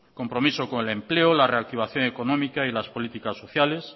compromiso con el empleo la reactivación económica y las políticas sociales